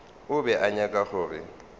o be a nyaka gore